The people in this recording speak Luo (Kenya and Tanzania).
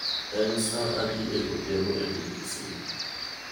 En saa adi e odhiambo e piny Kisumu?